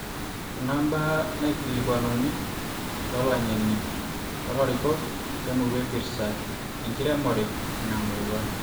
kuna mbaa naikilikuanuni too langeni too larikok le murrua epirrta enkiremore ina murrua